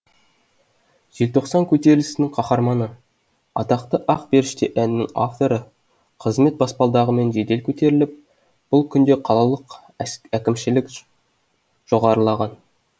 желтоқсан көтерілісінің қаһарманы атақты ақ періште әнінің авторы қызмет баспалдағымен жедел көтеріліп бұл күнде қалалық әкімшілік жоғарылаған